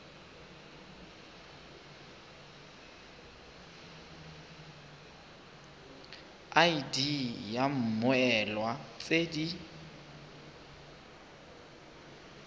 id ya mmoelwa tse di